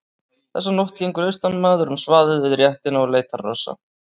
Þessa nótt gengur austanmaður um svaðið við réttina og leitar hrossa.